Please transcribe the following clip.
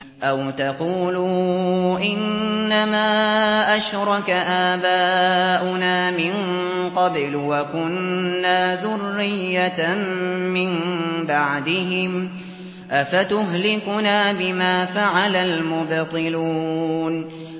أَوْ تَقُولُوا إِنَّمَا أَشْرَكَ آبَاؤُنَا مِن قَبْلُ وَكُنَّا ذُرِّيَّةً مِّن بَعْدِهِمْ ۖ أَفَتُهْلِكُنَا بِمَا فَعَلَ الْمُبْطِلُونَ